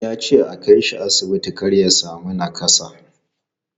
Ya ce a kai shi asibiti kar ya sami nakassa.